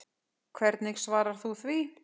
Hvernig svarar þú því?